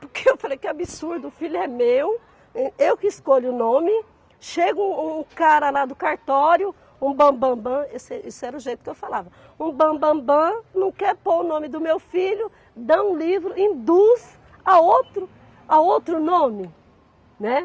Porque eu falei que absurdo, o filho é meu, eu que escolho o nome, chega um um cara lá do cartório, um bam-bam-bam, esse esse era o jeito que eu falava, um bam-bam-bam, não quer pôr o nome do meu filho, dá um livro, induz a outro, a outro nome, né?